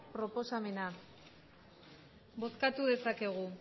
proposamena bozkatu dezakegu